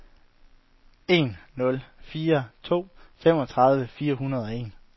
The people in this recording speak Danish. en nul fire to femogtredive fire hundrede og en